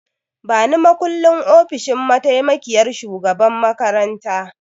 Bani makullin ofishin mataimakiyyar shugaban makaranta!